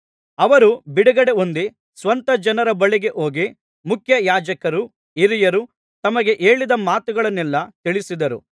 ಅವರು ಬಿಡುಗಡೆ ಹೊಂದಿ ಸ್ವಂತ ಜನರ ಬಳಿಗೆ ಹೋಗಿ ಮುಖ್ಯಯಾಜಕರೂ ಹಿರಿಯರೂ ತಮಗೆ ಹೇಳಿದ ಮಾತುಗಳನ್ನೆಲ್ಲಾ ತಿಳಿಸಿದರು